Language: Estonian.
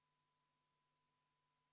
Vaheaeg on lõppenud ja saame tööga edasi minna.